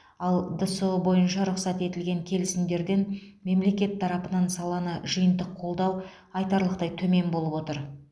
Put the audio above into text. ал дсұ бойынша рұқсат етілген келісімдерден мемлекет тарапынан саланы жиынтық қолдау айтарлықтай төмен болып отыр